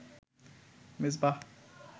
Mezba.